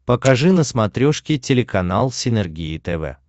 покажи на смотрешке телеканал синергия тв